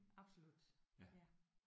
Absolut ja